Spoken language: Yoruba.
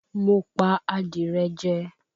Mo pa adìrẹ jẹ